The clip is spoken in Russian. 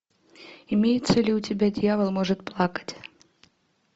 имеется ли у тебя дьявол может плакать